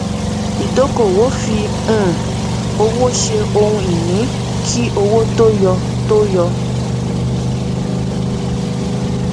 ìdókòòwò fí um owó ṣe ohun ìní kí owó tó yọ tó yọ